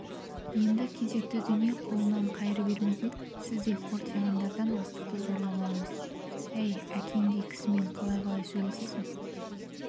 енді кезекті дүние қолынан қайыр бермейтін сіздей қортиғандардан астықты зорлап аламыз әй әкеңдей кісімен қалай-қалай сөйлесесің